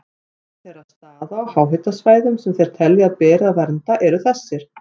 Meðal þeirra staða á háhitasvæðum sem þeir telja að beri að vernda eru þessir